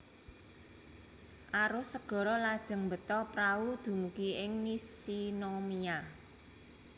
Arus segara lajeng mbeta prahu dumugi ing Nishinomiya